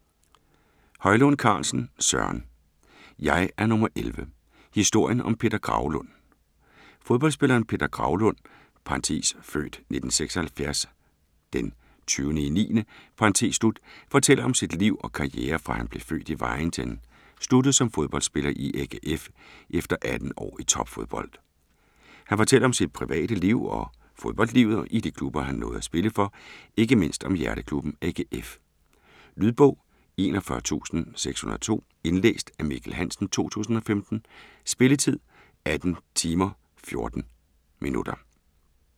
Højlund Carlsen, Søren: Jeg er nummer 11: historien om Peter Graulund Fodboldspilleren Peter Graulund (f. 1976-09-20) fortæller om sit liv og karriere fra han blev født i Vejen til han sluttede som fodboldspiller i AGF, efter 18 år i topfodbold. Han fortæller om sit private liv og fodboldlivet i de klubber han nåede at spille for. Ikke mindst om hjerteklubben AGF. Lydbog 41602 Indlæst af Mikkel Hansen, 2015. Spilletid: 18 timer, 14 minutter.